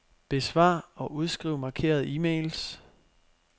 Besvar og udskriv markerede e-mails.